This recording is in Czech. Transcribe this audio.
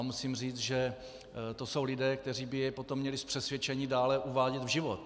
A musím říct, že to jsou lidé, kteří by jej potom měli z přesvědčení dále uvádět v život.